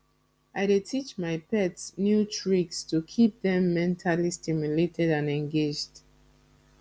i dey teach my pet new tricks to keep dem mentally stimulated and engaged